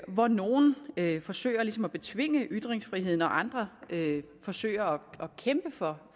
hvor nogle forsøger ligesom at betvinge ytringsfriheden mens andre forsøger at kæmpe for